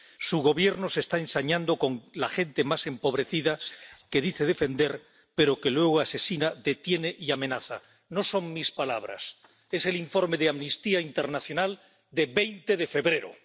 Su gobierno se está ensañando con la gente más empobrecida a la que dice defender, pero a la que luego asesina, detiene y amenaza —no son mis palabras es el informe de Amnistía Internacional de 20 de febrero—.